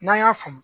N'an y'a faamu